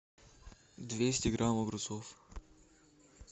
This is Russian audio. двести грамм огурцов